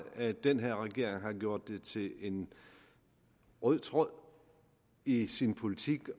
at den her regering har gjort det til en rød tråd i sin politik